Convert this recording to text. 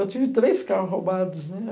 Eu tive três carros roubados, né?